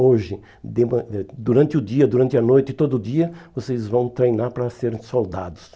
Hoje, de man eh durante o dia, durante a noite, todo dia, vocês vão treinar para serem soldados.